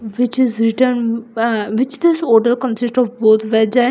Which is written ha which is hotel consist of both veg and --